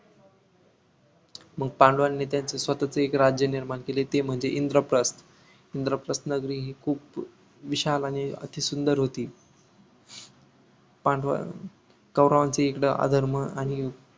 मग पांडवांनी त्यांचं स्वतःच एक राज्य निर्माण केले ते म्हणजे इंद्रप्रथ इंद्रप्रथ नगरी हि खूप विशाल आणि अति सुंदर होती पांडवा कौरवांच इकडं आधर्म आणि